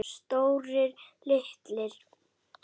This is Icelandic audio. Stórir, litlir.